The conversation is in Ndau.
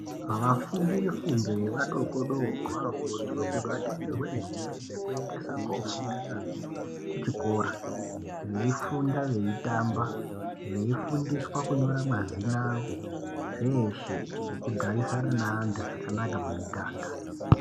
Vafundi vefundo yavadikidiki vanokurudzirwa kuti vatengerwe nhumbi dzekuti vaendesa kofunda nadzo kuchikora veifunda veitamba veifundiswa kunyora mazina avo zveshe nekugarisana naantu zvakanaka mumiganga.